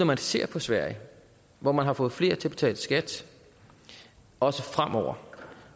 man ser på sverige hvor man har fået flere til at betale skat også fremover